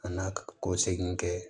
A n'a ka ko segin kɛ